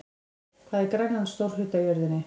Hvað er Grænland stór hluti af jörðinni?